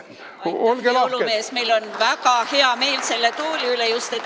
Aitäh, hea jõulumees, meil on väga hea meel just selle tooli üle.